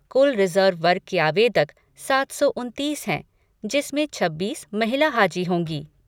कुल रिजर्व वर्ग के आवेदक सात सौ उनतीस हैं, जिसमें छब्बीस महिला हाजी होंगी।